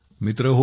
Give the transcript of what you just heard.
मित्रहो